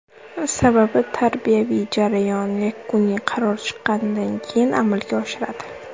Sababi, tarbiyaviy jarayon yakuniy qaror chiqqanidan keyin amalga oshiriladi.